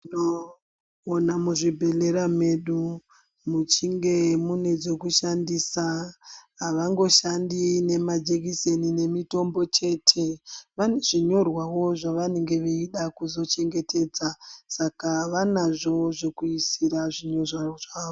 Tinona muzvibhedhlera medu muchinge mune zvekushandisa havangoshandi nemajekiseni nemitombo chete. Vane zvinyorwavo zvavanenge veida kuzochengetedza saka vanazvo zvokuisira zvinhu zvavo.